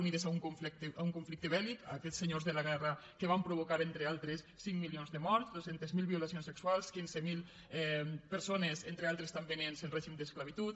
unides a un conflicte bèlsenyors de la guerra que van provocar entre d’altres cinc milions de morts dos cents miler violacions sexuals quinze mil persones entre altres també nens en règim d’esclavitud